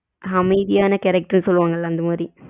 அமைதியான character சொல்லுவங்கள அந்த மாரி.